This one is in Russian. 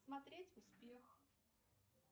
смотреть успех